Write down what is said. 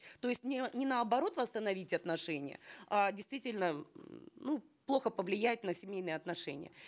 то есть не не наоборот восстановить отношения а действительно м ну плохо повлияет на семейные отношения